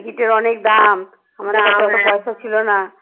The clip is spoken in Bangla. টিকিটের অনেক দাম আমাদের অত পয়সা ছিল না